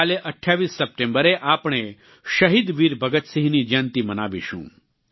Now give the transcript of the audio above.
કાલે 28 સપ્ટેમ્બરે આપણે શહીદ વીર ભગતસિંહની જયંતિ મનાવીશું